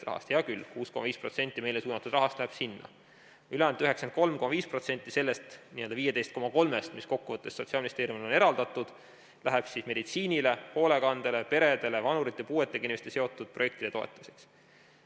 Hea küll, 6,5% meile suunatud rahast läheb sinna, ülejäänud 93,5% sellest 15,3%-st, mis kokkuvõttes Sotsiaalministeeriumile on eraldatud, läheb meditsiinile, hoolekandele, peredele, vanuritele, puuetega inimestega seotud projektide toetamiseks.